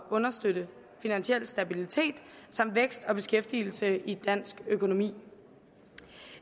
at understøtte finansiel stabilitet samt vækst og beskæftigelse i dansk økonomi